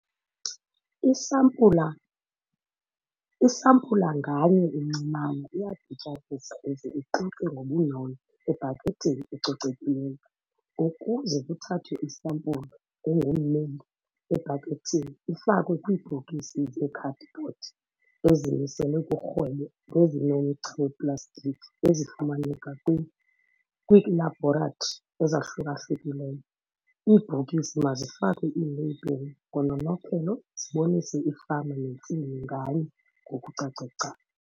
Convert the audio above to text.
Isampula isampula nganye encinanana iyadityaniswa ize ixutywe ngobunono ebhakethini ecocekileyo ukuze kuthathwe isampulu engummeli ebhakethini ifakwe kwiibhokisi zeekhadibhodi ezimiselwe kurhwebo nezinomgca weplastiki ezifumaneka kwiilabhoratri ezahluka-hlukileyo. Iibhokisi mazifakwe iileyibhile ngononophelo zibonise ifama nentsimi nganye ngokucace gca.